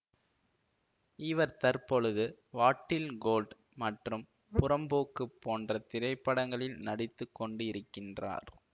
இவர் தற்பொழுது வாடீல் கோல்ட் மற்றும் புறம்போக்கு போன்ற திரைப்படங்களில் நடித்துக்கொண்டு இருக்கின்றார்